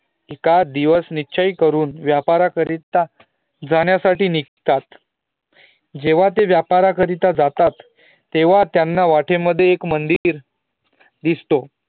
एखादा दिवस निश्चय करुण व्यापार करीता जाण्या साठी निघतात ज्येव्हा ते व्यापार जातात तेंव्हा त्यांना वाटेतएक मंदिर दिसतो